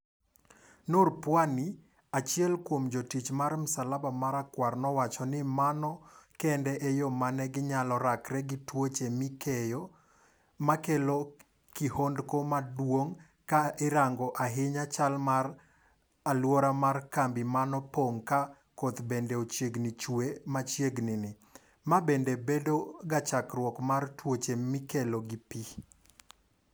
Noor Pwani, achiel kuom jotich mar msalaba mara kwar nowacho ni mano kende e yoo mane gi nyalo rakre gi tuoche mikeyo, makelo kihondko maduong' ka irango ahinya chal marach mar aluora mar kambi manopong' ka koth bende ochiegni chue machiegni ni, mabende bedo ga chakruok mar tuoche mikelo gi pii.